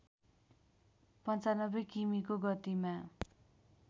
९५ किमिको गतिमा